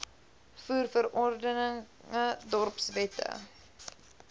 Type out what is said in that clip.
voer verordeninge dorpswette